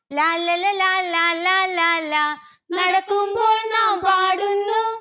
ലാല്ലല ലാലാ ലാലാ ലാ. നടക്കുമ്പോൾ നാം പാടുന്നു